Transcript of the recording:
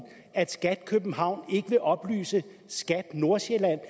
at skat københavn ikke vil oplyse skat nordsjælland